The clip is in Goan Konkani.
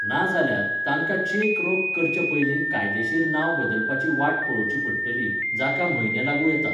नाजाल्यार, तांकां चेक रोख करचे पयलीं कायदेशीर नांव बदलपाची वाट पळोवची पडटली, जाका म्हयने लागूं येतात.